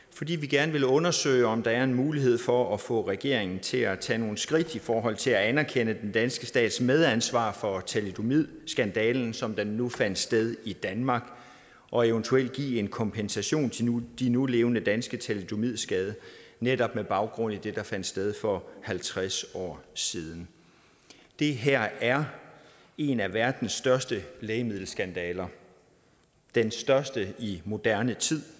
fordi vi gerne vil undersøge om der er en mulighed for at få regeringen til at tage nogle skridt i forhold til at anerkende den danske stats medansvar for thalidomidskandalen som den nu fandt sted i danmark og eventuelt give en kompensation til de nulevende danske thalidomidskadede netop med baggrund i det der fandt sted for halvtreds år siden det her er en af verdens største lægemiddelskandaler den største i moderne tid